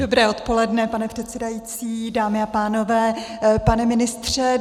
Dobré odpoledne, pane předsedající, dámy a pánové, pane ministře.